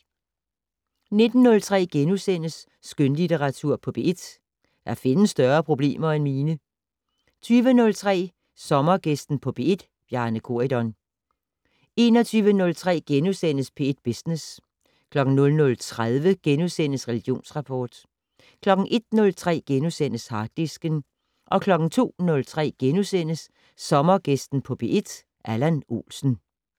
19:03: Skønlitteratur på P1: Der findes større problemer end mine * 20:03: Sommergæsten på P1: Bjarne Corydon 21:03: P1 Business * 00:30: Religionsrapport * 01:03: Harddisken * 02:03: Sommergæsten på P1: Allan Olsen *